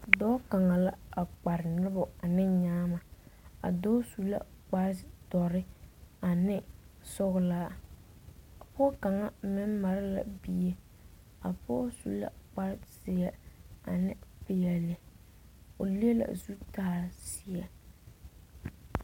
Dɔɔ kaŋa la a kpare noba ane nyaama a dɔɔ su la kpare doɔre ane sɔglaa pɔge kaŋa meŋ mare a bie pɔge su la kpare ziɛ ne peɛle o le la zutal ziɛ.